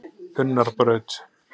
Unnarbraut